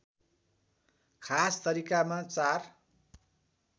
खास तरिकामा चार